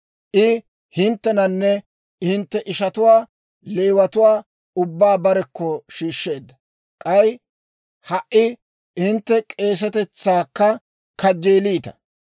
I hinttenanne hintte ishatuwaa Leewatuwaa ubbaa barekko shiishsheedda; k'ay ha"i hintte k'eesetetsaakka kajjeeliita.